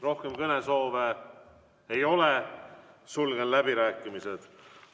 Rohkem kõnesoove ei ole, sulgen läbirääkimised.